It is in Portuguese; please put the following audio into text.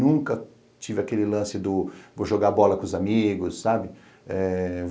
Nunca tive aquele lance do... vou jogar bola com os amigos, sabe? Eh